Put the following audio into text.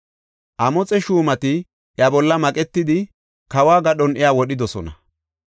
Amoxe shuumati iya bolla maqetidi, kawo gadhon iya wodhidosona.